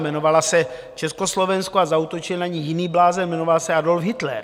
Jmenovala se Československo a zaútočil na ni jiný blázen, jmenoval se Adolf Hitler.